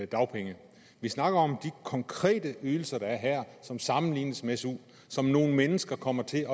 dagpenge vi snakker om de konkrete ydelser der er her som sammenlignes med su og som nogle mennesker kommer til